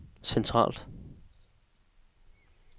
centralt